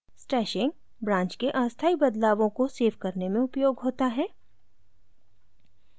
stashing branch के अस्थाई बदलावों को सेव करने में उपयोग होता है